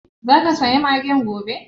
Zaka saya magen gobe?